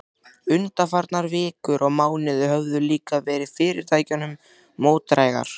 Undanfarnar vikur og mánuðir höfðu líka verið fyrirtækinu mótdrægar.